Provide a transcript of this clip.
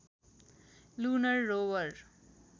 lunar rover